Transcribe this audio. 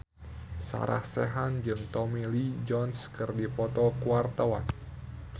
Sarah Sechan jeung Tommy Lee Jones keur dipoto ku wartawan